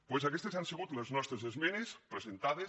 doncs aquestes han sigut les nostres esmenes presen·tades